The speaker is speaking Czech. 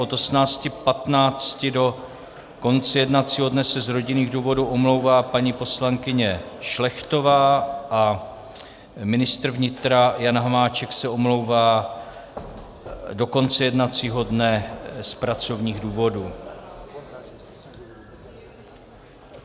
Od 18.15 do konce jednacího dne se z rodinných důvodů omlouvá paní poslankyně Šlechtová a ministr vnitra Jan Hamáček se omlouvá do konce jednacího dne z pracovních důvodů.